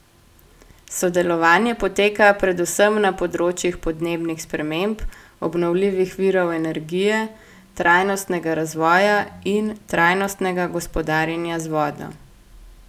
Sodelovanje poteka predvsem na področjih podnebnih sprememb, obnovljivih virov energije, trajnostnega razvoja in trajnostnega gospodarjenja z vodo.